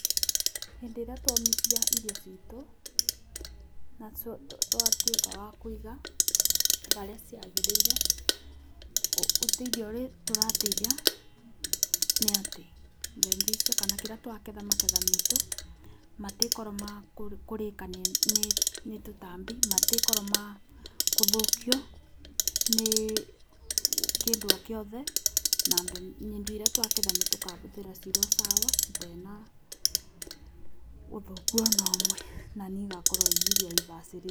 Hĩndĩ ĩrĩa twomithia irio citũ na twatuĩka wa kũiga barĩa ciagĩrĩire, ũteithio ũrĩa tũrateithia nĩ atĩ mbembe icio kana kĩrĩa twaketha maketha maitũ matiĩkorwo makũrĩka nĩ tũtambi, matiĩkorwo ma kũthũkio nĩ kĩndũ o kĩothe na indo iria twaketha nĩtũkabũthĩra cirĩ o sawa itee na ũthũku ona ũmwe na nĩ igakorwo i irio ibacĩrĩirwo.